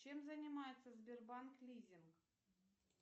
чем занимается сбербанк лизинг